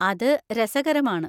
അത് രസകരമാണ്.